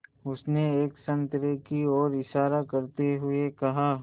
उसने एक संतरे की ओर इशारा करते हुए कहा